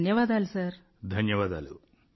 ధన్యవాదాలు ధన్యవాదాలు సార్